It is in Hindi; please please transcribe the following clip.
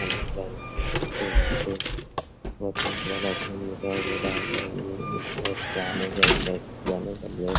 हेलो गाइस देख सकते है यहाँ पे बहुत ही प्यारा सीन दिखाई दे रहा है एक साइड से आने के लिए एक साइड से जाने के लिए |